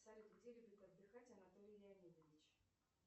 салют где любит отдыхать анатолий леонидович